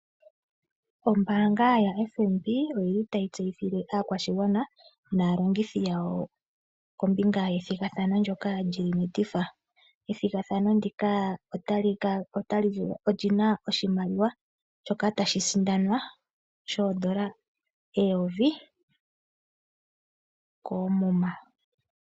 Ombaanga yaFNB oyili tayi tseyithile aakwashigwana naalongithi yawo kombinga yethigathano ndyoka lyi li metifa. Ethigathano ndika olina oshimaliwa shoka tashi sindanwa shoodola eyovi koomuma.